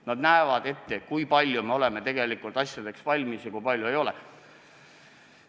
Nad ütlevad meile, kui palju me oleme tegelikult asjadeks valmis ja kui palju ei ole.